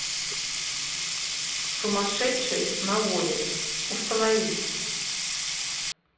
сумасшедший на воле установи